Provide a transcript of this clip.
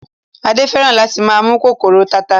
Adé fẹ́ràn láti máa mú kòkòrò tata